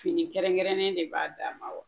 Fini kɛrɛnkɛrɛnnen de b'a da ma wa?